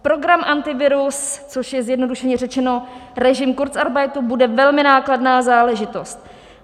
Program Antivirus, což je zjednodušeně řečeno režim kurzarbeitu, bude velmi nákladná záležitost.